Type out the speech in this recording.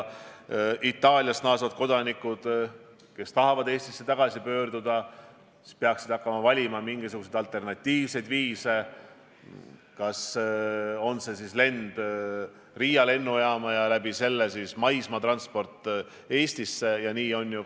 Itaaliast naasvad kodanikud, kes tahavad Eestisse tagasi pöörduda, peaksid hakkama valima mingisuguseid alternatiivseid viise, on see siis lend Riia lennujaama ja sealt edasi mööda maismaad Eestisse või midagi muud.